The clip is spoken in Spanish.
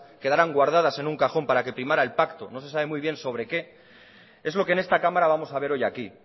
quedaran guardadas en un cajón para que primara el pacto no se sabe muy bien sobre qué es lo que en esta cámara vamos a ver hoy aquí